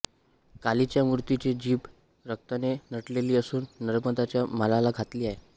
कालीच्या मूर्तीची जीभ रक्ताने नटलेली असून नर्मंदांच्या मालाला घातली आहे